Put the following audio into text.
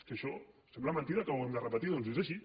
és que això sembla mentida que ho hàgim de repetir doncs és així